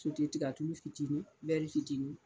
Titi tiga tulu fitinin bɛri fitinin